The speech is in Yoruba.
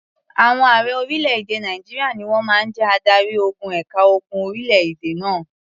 Àwọn ààrẹ orílẹ̀-èdè Nàìjíríà ni wọ́n máa ń jẹ́ adarí-ogun ẹ̀ka ogun orílẹ̀-èdè náà.